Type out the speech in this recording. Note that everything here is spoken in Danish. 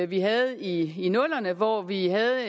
vi havde i nullerne hvor vi havde